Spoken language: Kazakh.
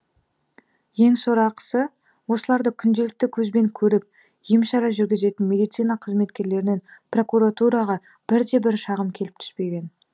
ең сорақысы осыларды күнделікті көзбен көріп ем шара жүргізетін медицина қызметкерлерінен прокуратураға бірде бірде шағым келіп түспеген